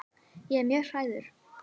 Ég er mjög hrærður.